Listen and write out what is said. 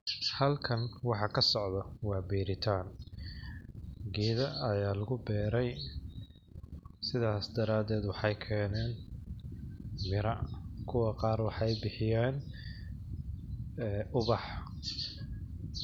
Halkan waxa ka socdo waa beeritaan ,geeda ayaa lagi beeray sidaas daradeed waxeey keeneen mira ,kuwa qaar waxeey bixiyeen ee ubax .